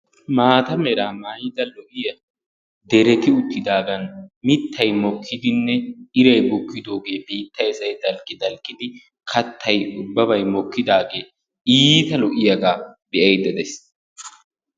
Maata mera maayida lo"iyaa dereti uttidaagan mittay mokidinne iray bukkidooge biittay say dalqqidalqqidi kattay ubbabay iittay lo"iyaaga be'aydda de'ays.